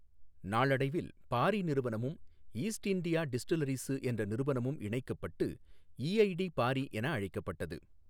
நாளடைவில் பாரி நிறுவனமும் east India distilleries என்ற நிறுவனமும் இணைக்கப்பட்டு ஈஐடி பாரி என அழைக்கப்பட்டது.